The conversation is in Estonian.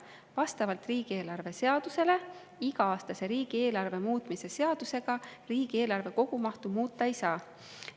Vastavalt riigieelarve seadusele iga-aastase riigieelarve muutmise seadusega riigieelarve kogumahtu muuta ei saa.